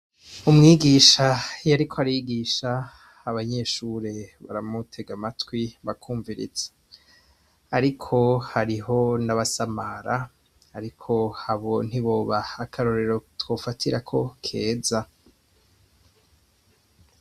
Umwigisha iyariko arigisha abanyeshure baramutega amatwi bakumviriza, ariko hariho nabasamara ariko abo ntiboba akarorero twofatirako keza.